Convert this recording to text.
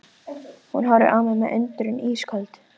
Hún horfir á mig með undrun í ísköld